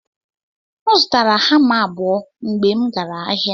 M zụtara hama abụo mgbe m gara ahịa.